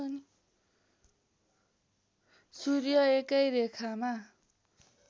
सूर्य एकै रेखामा